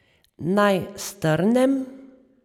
Naj strnem.